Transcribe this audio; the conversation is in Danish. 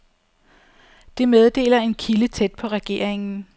Det meddeler en kilde tæt på regeringen.